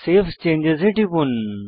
save changes এ টিপুন